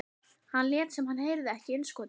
Hann lét sem hann heyrði ekki innskotið.